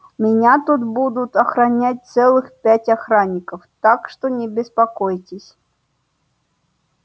меня тут будут охранять целых пять охранников так что не беспокойтесь